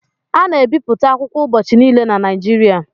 A na-ebipụta akwụkwọ ubọchị niile na Naịjirịa